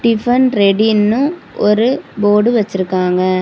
Tiffin ரெடின்னு ஒரு board வச்சுருக்காங்க.